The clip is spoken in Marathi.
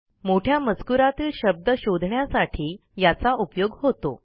मोठ्या मजकूरातील शब्द शोधण्यासाठी याचा उपयोग होतो